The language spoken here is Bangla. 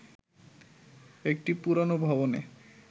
একটি পুরোনো ভবনে